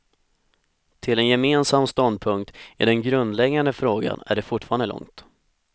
Till en gemensam ståndpunkt i den grundläggande frågan är det fortfarande långt.